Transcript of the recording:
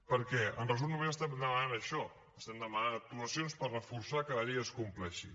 perquè en resum només estem demanant això estem demanant actuacions per reforçar que la llei es compleixi